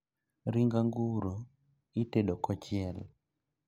Ring' anguro itedo kochiel